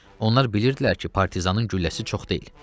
Onlar bilirdilər ki, partizanın gülləsi çox deyil.